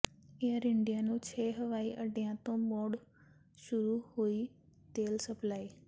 air India ਨੂੰ ਛੇ ਹਵਾਈ ਅੱਡਿਆਂ ਤੋਂ ਮੁੜ ਸ਼ੁਰੂ ਹੋਈ ਤੇਲ ਸਪਲਾਈ